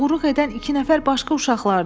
Oğruluq edən iki nəfər başqa uşaqlardır.